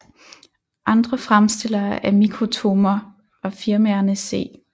Andre fremstillere af mikrotomer var firmaerne C